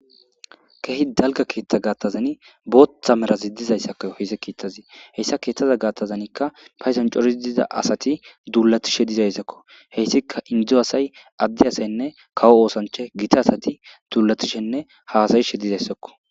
kehi dalga keetta gaattazani booththa merazi didizayssakko heyse kiittazi heyssa keettaza gaattazanikka paysan corii diza asati duulatishe dizayssakko heyssika indizo asay addi asaynne kawo oosanche gita asati duulatishenne haasayishe dizayssakko